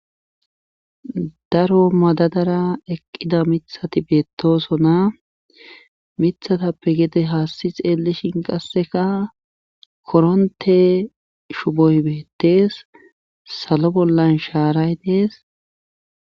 Daro madadara eqqida mitahti beettoosona mithatappe gede haassi xeellishin qassika koronte shuboy beettes salo bollan shaaray dees.